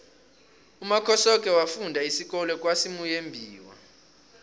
umakhosoke wafunda isikolo kwasimuyembiwa